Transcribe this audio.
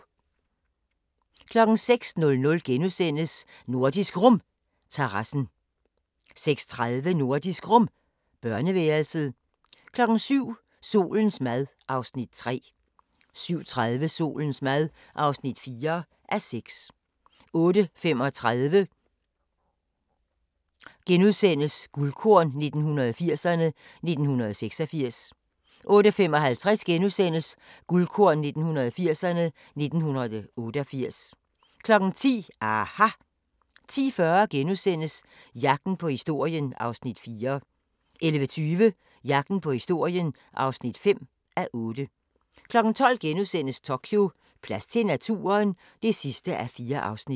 06:00: Nordisk Rum – terrassen * 06:30: Nordisk Rum – børneværelset 07:00: Solens mad (3:6) 07:30: Solens mad (4:6) 08:35: Guldkorn 1980'erne: 1986 * 08:55: Guldkorn 1980'erne: 1988 * 10:00: aHA! 10:40: Jagten på historien (4:8)* 11:20: Jagten på historien (5:8) 12:00: Tokyo: Plads til naturen? (4:4)*